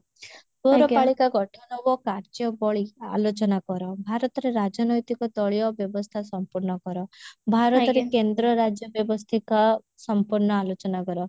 ପୌରପାଳିକା ଗଠନ ହବ କାର୍ଯ୍ୟାବଳୀ ଆଲୋଚନା କର ଭାରତରେ ରାଜନୈତିକ ଦଳୀୟ ବ୍ୟବସ୍ଥା ସମ୍ପୂର୍ଣ କର ଭାରତରେ କେନ୍ଦ୍ର ରାଜ୍ୟ ବ୍ୟବସ୍ତିକା ସମ୍ପୂର୍ଣ ଆଲୋଚନା କର